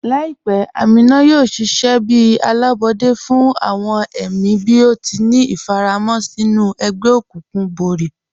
Laipẹ́ Ámínà yóò ṣiṣẹ̀ bí alábọdẹ̀ fún awọn ẹ̀mí bí ó tì ní ifàràmọ̀ sinú ègbè-òkùnkùn bọ̀rí.